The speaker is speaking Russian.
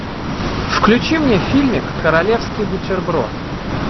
включи мне фильмик королевский бутерброд